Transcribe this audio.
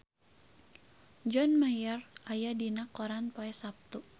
John Mayer aya dina koran poe Saptu